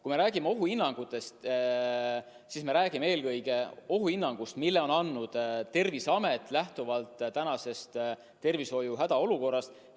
Kui me räägime ohuhinnangutest, siis me räägime eelkõige ohuhinnangust, mille on andnud Terviseamet lähtuvalt praegusest tervishoiu hädaolukorrast.